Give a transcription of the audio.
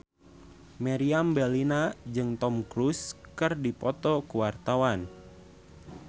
Meriam Bellina jeung Tom Cruise keur dipoto ku wartawan